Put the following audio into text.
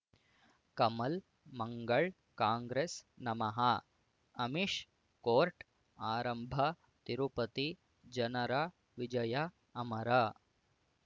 ಕಮಲ್ ಮಂಗಳ್ ಕಾಂಗ್ರೆಸ್ ನಮಃ ಅಮಿಷ್ ಕೋರ್ಟ್ ಆರಂಭ ತಿರುಪತಿ ಜನರ ವಿಜಯ ಅಮರ